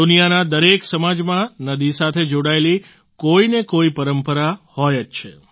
દુનિયાના દરેક સમાજમાં નદી સાથે જોડાયેલી કોઈને કોઈ પરંપરા હોય જ છે